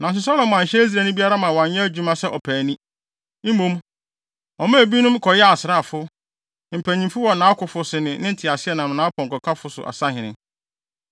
Nanso Salomo anhyɛ Israelni biara amma wanyɛ adwuma sɛ ɔpaani. Mmom, ɔmaa ebinom kɔyɛɛ asraafo, mpanyimfo wɔ nʼakofo so ne ne nteaseɛnam ne nʼapɔnkɔkafo so asahene.